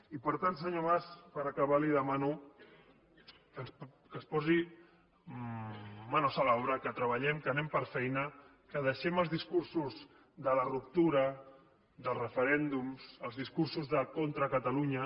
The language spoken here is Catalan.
i per tant senyor mas per acabar li demano que es posi manos a la obra que treballem que anem per feina que deixem els discursos de la ruptura de referèndums els discursos de contra catalunya